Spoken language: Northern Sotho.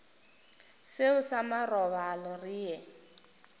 seo sa marobalo re ye